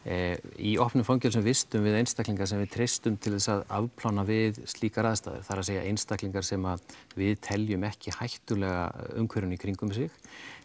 í opnum fangelsum vistum við einstaklinga sem við treystum til að afplána við slíkar aðstæður það er að segja einstaklingar sem við teljum ekki hættulega umhverfinu í kringum sig